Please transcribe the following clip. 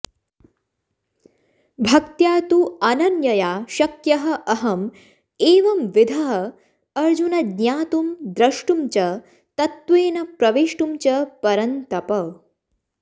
भक्त्या तु अनन्यया शक्यः अहम् एवंविधः अर्जुन ज्ञातुं द्रष्टुं च तत्त्वेन प्रवेष्टुं च परन्तप